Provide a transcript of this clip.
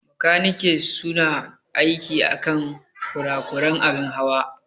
Makaniki su na aiki akan kurakuran abin Hawa.